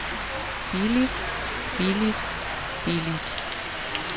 billigt billigt billigt